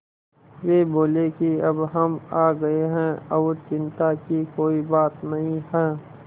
वे बोले कि अब हम आ गए हैं और चिन्ता की कोई बात नहीं है